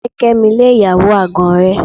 Fẹ́ Kẹ́mi lé ìyàwó àgàn rẹ.